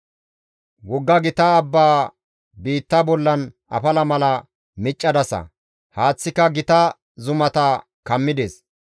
Wogga gita abba biitta bollan afala mala miccadasa; haaththika gita zumata kammides.